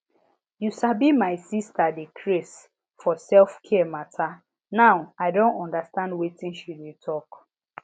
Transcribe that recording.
you sabi my sister dey craze for selfcare matter now i don understand wetin she dey talk